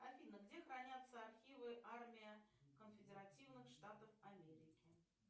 афина где хранятся архивы армия конфедеративных штатов америки